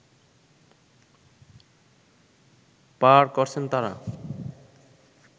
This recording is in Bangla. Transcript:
পার করছেন তারা